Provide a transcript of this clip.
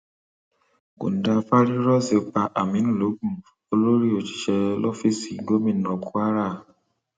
kòńdàfáàrírọọsì pa aminu lọgun olórí òṣìṣẹ lọfíìsì gómìnà kwara